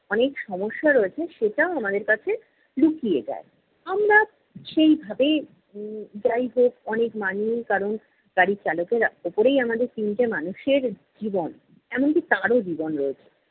অনেক সমস্যা রয়েছে সেটাও আমাদের কাছে লুকিয়ে যায়। আমরা সেই ভাবে উম যাই হোক অনেক মানিয়ে, কারণ গাড়ির চালকের উপরেই আমাদের তিনটে মানুষের জীবন এমনকি তারও জীবন রয়েছে।